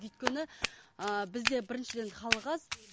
өйткені ііі бізде біріншіден халық аз